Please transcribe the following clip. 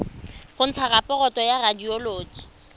go ntsha raporoto ya radioloji